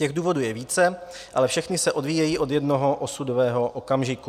Těch důvodů je více, ale všechny se odvíjejí od jednoho osudového okamžiku.